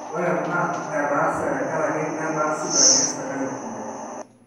ore ena naa etaase tekaraki netaa sipitalini esirkali kumok